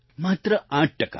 માત્ર 8 ટકા